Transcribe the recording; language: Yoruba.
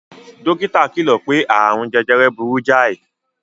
Dókítà kìlò pé aààrùn jejere burú jáì.